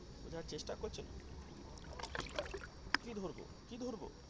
বোঝার চেষ্টা করছেন কি ধরবো কি ধরবো.